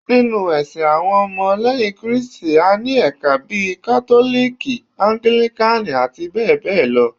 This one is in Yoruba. Ninu ẹsìn awọn ọmọ leyin kristi,a ní ẹka bíi kátólìkì, anglikan, abbl